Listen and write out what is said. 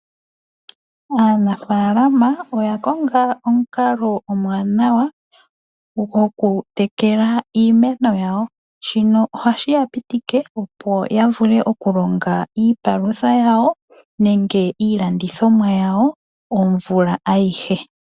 Aanafaalama oya konga omukalo omwaanawa gwoku tekela iimeno yawo. Shino ohashi ya pitike, opo ya vule oku longa iipalutha yawo , nenge iilandithomwa yawo omvula ayihe.